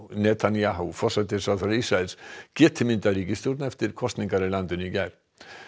Netanyahu forsætisráðherra Ísraels geti myndað ríkisstjórn eftir kosningar í landinu í gær